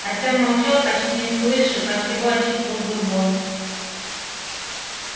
артем молчал почти не слыша как его отчитывал бурбон